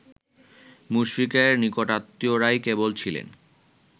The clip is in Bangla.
মুশফিকের নিকটাত্মীয়রাই কেবল ছিলেন